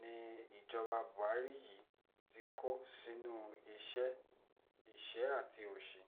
ni ìjọba buhari yìí ti kó sínú ìṣẹ́ àti òsì